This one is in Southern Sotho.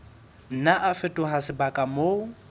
nna a fetoha sebaka moo